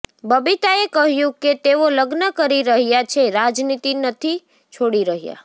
બબીતાએ કહ્યું કે તેઓ લગ્ન કરી રહ્યાં છે રાજનીતિ નથી છોડી રહ્યાં